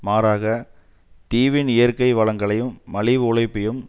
மாறாக தீவின் இயற்கை வளங்களையும் மலிவு உழைப்பையும்